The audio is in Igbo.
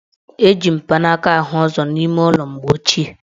Eji mpanaaka ahụ ụzọ n' ime ụlọ mgbe ochie.